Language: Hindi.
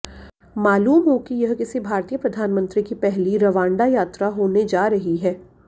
मालूम हो कि यह किसी भारतीय प्रधानमंत्री की पहली रवांडा यात्रा होने जा रही है